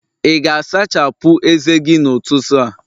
ị ga-asachapụ ezé gị n'ụtụtụ a?